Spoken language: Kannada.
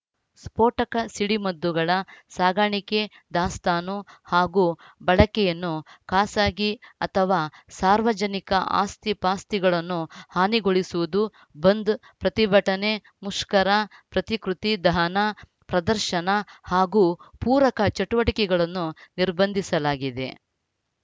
ಸ್ಪೋಟಕ ಸಿಡಿಮದ್ದುಗಳ ಸಾಗಾಣಿಕೆ ದಾಸ್ತಾನು ಹಾಗೂ ಬಳಕೆಯನ್ನು ಖಾಸಗಿ ಅಥವಾ ಸಾರ್ವಜನಿಕ ಆಸ್ತಿಪಾಸ್ತಿಗಳನ್ನು ಹಾನಿಗೊಳಿಸುವುದು ಬಂದ್‌ ಪ್ರತಿಭಟನೆ ಮುಷ್ಕರ ಪ್ರತಿಕೃತಿ ದಹನ ಪ್ರದರ್ಶನ ಹಾಗೂ ಪೂರಕ ಚಟುವಟಿಕೆಗಳನ್ನು ನಿರ್ಬಂಧಿಸಲಾಗಿದೆ